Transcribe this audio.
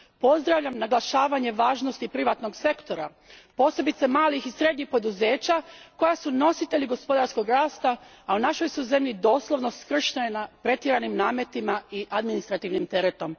Pozdravljam naglašavanje važnosti privatnog sektora, posebice malih i srednjih poduzeća koja su nositelji gospodarskog rasta, a u našoj su zemlji doslovno skršena pretjeranim nametima i administrativnim teretom.